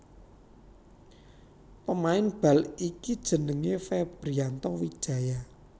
Pemain bal iki jenengé Febrianto Wijaya